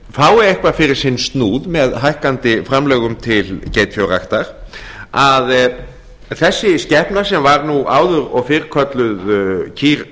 fái eitthvað fyrir sinn án með hækkandi framlögum til geitfjárræktar að þessi skepna sem var áður og fyrr kölluð kýr